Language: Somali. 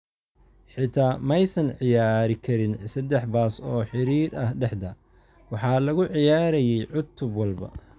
Xitaa ma aysan ciyaari karin seddex baas oo xiriir ah dhexda, waxaa lagu ciyaarayay cutub walba.